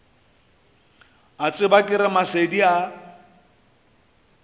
a tsebja ke ramasedi a